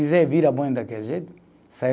Daquele jeito